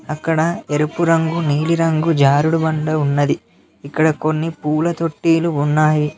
అక్కడ ఎరుపు రంగు నీలిరంగు జారుడు బండ ఉన్నది ఇక్కడ కొన్ని పూల తొట్టిలు ఉన్నాయి.